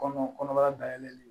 Kɔnɔ kɔnɔbara dayɛlɛli